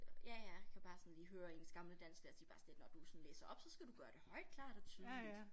Ja ja kan bare sådan lige høre ens gamle dansklærer sige bare sådan lidt når du sådan læser op så skal du gøre det højt klart og tydeligt